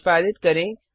निष्पादित करें